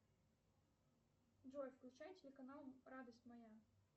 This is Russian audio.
джой включай телеканал радость моя